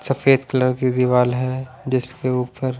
सफेद कलर की दीवाल है जिसके ऊपर--